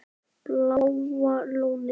Bláa Lónið